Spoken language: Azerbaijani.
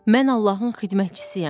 Mən Allahın xidmətçisiyəm.